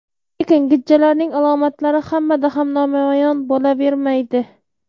Lekin gijjalarning alomatlari hammada ham namoyon bo‘lavermaydi.